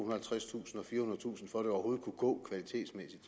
og halvtredstusind og firehundredetusind for at det overhovedet kunne gå kvalitetsmæssigt